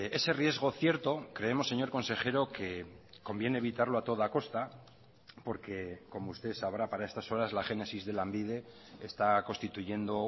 ese riesgo cierto creemos señor consejero que conviene evitarlo a toda costa porque como usted sabrá para estas horas la génesis de lanbide está constituyendo